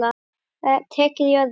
Það er tekið í öðru.